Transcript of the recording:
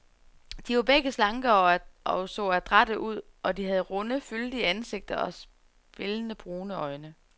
De var begge slanke og så adrætte ud, og de havde runde, fyldige ansigter og spillende, brune øjne.